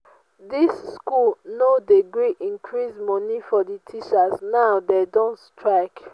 dis school no dey gree increase money for the teachers now dey don strike